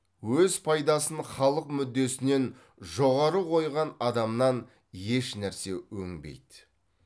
өз пайдасын халық мүддесінен жоғары қойған адамнан еш нәрсе өңбейді